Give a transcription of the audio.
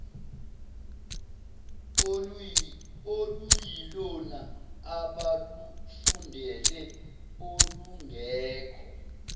oluyilona abalufundele olungekho